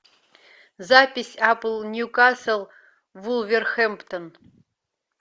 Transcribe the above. запись апл ньюкасл вулверхэмптон